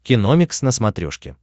киномикс на смотрешке